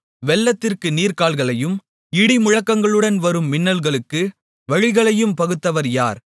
வெள்ளத்திற்கு நீர்க்கால்களையும் இடிமுழக்கங்களுடன் வரும் மின்னலுக்கு வழிகளையும் பகுத்தவர் யார்